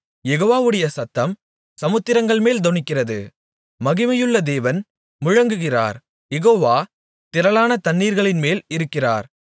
யெகோவாவுடைய சத்தம் சமுத்திரங்கள் மேல் தொனிக்கிறது மகிமையுள்ள தேவன் முழங்குகிறார் யெகோவா திரளான தண்ணீர்களின்மேல் இருக்கிறார்